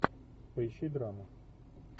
поищи драму